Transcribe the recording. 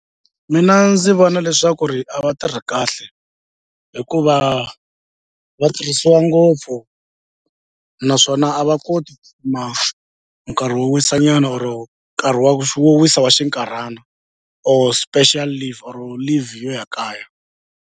Mina ndzi vona leswaku ri a va tirhi kahle hikuva va tirhisiwa ngopfu naswona a va koti ku kuma nkarhi wo wisa nyana or nkarhi wa wo wisa wa xinkarhana or special leave or leave yo ya kaya.